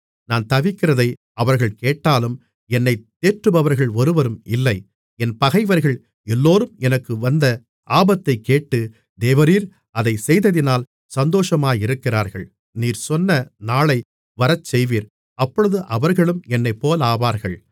நான் தவிக்கிறதை அவர்கள் கேட்டாலும் என்னைத் தேற்றுபவர்கள் ஒருவரும் இல்லை என் பகைவர்கள் எல்லோரும் எனக்கு வந்த ஆபத்தைக் கேட்டு தேவரீர் அதைச் செய்ததினால் சந்தோஷமாயிருக்கிறார்கள் நீர் சொன்ன நாளை வரச்செய்வீர் அப்பொழுது அவர்களும் என்னைப்போலாவார்கள்